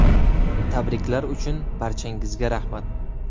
Tabriklar uchun barchangizga rahmat.